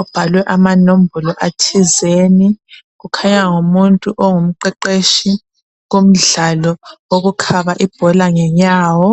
obhalwe amanombolo athizeni kukhanya ngumuntu ongumqeqetshi kumdlalo wokukhaba ibhola ngenyawo.